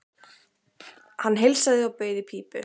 Hann heilsaði og bauð í pípu.